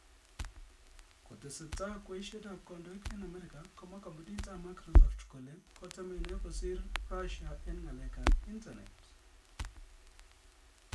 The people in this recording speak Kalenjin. Kotesetai kweiset ab kandoik eng America komwa kampunit ab Microsoft kole kotemeni kosir Russia eng ng'alek ab intanet